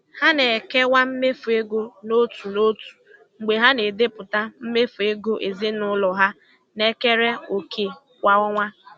Ha na-ekewa mmefu ego n'otu n'otu mgbe ha na-edepụta mmefu ego ezinụlọ ha na-ekere òkè kwa ọnwa.